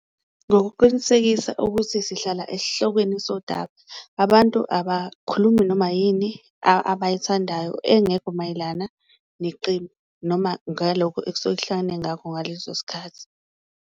Ngokuqinisekisa ukuthi sihlala esihlokweni sodaba, abantu abakhulumi noma yini abayithandayo engekho mayelana neqembu, noma ngalokhu ekusuke kuhlangane ngakho ngaleso sikhathi.